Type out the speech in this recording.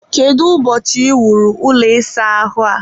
kedu ụbọchị e wuru ụlọ ịsa ahụ a?